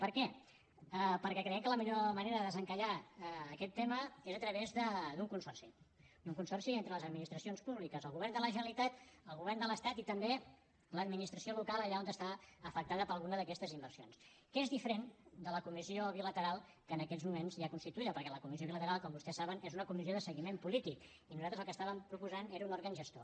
per què perquè creiem que la millor manera de desencallar aquest tema és a través d’un consorci d’un consorci entre les administracions públiques el govern de la generalitat el govern de l’estat i també l’administració local allà on està afectada per alguna d’aquestes inversions que és diferent de la comissió bilateral que en aquests moments hi ha constituïda perquè la comissió bilateral com vostès saben és una comissió de seguiment polític i nosaltres el que proposàvem era un òrgan gestor